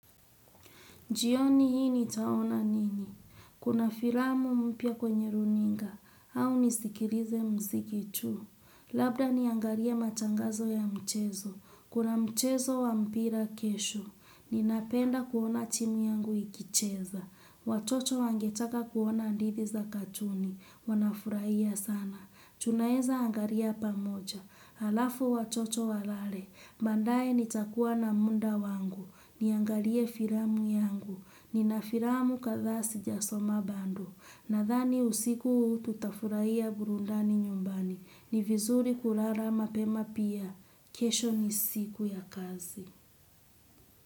Jioni hii nitaona nini? Kuna filamu mpya kwenye runinga. Au nisikilize mziki tu. Labda niangalie matangazo ya michezo. Kuna mchezo wa mpira kesho. Ninapenda kuona timu yangu ikicheza. Watoto wangetaka kuona hadithi za katuni. Wanafurahia sana. Tunaweza angalia pamoja. Halafu watoto walale. Baadaye nitakuwa na muda wangu. Niangalie filamu yangu, nina filamu kadhaa sijasoma bado, nadhani usiku huu tutafurahia burundani nyumbani, ni vizuri kulala mapema pia, kesho ni siku ya kazi.